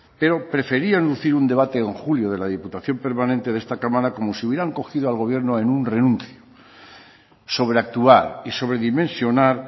pero preferían lucir un debate en julio de la diputación permanente de esta cámara como si hubieran cogido al gobierno en un renuncio sobreactuar y sobredimensionar